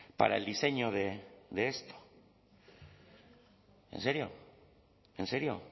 para el diseño de esto en serio en serio